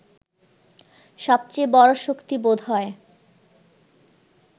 সবচেয়ে বড় শক্তি বোধ হয়